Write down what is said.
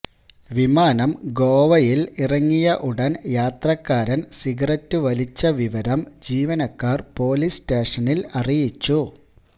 വിമാനം ഗോവയിൽ ഇറങ്ങിയ ഉടൻ യാത്രക്കാരൻ സിഗരറ്റ് വലിച്ച വിവരം ജീവനക്കാർ പൊലീസ് സ്റ്റേഷനിൽ അറിയിച്ചു